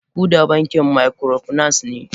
Kuda bankin microfinance ne.